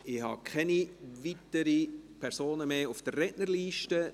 Ich habe keine weiteren Personen mehr auf der Rednerliste.